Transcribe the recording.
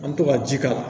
An bɛ to ka ji k'a la